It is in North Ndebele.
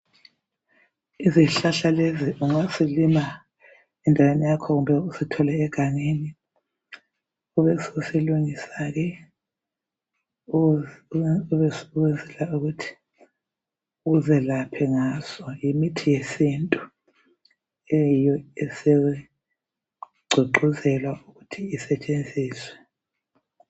Izihlahla lezi ungazilima endaweni yakho kumbe uzithole egangeni kube usilungisa ke ukwenzela ukuthi uzelaphe ngaso yimithi yesintu eyiyo esigqugquzewa ukuthi isetshenziswe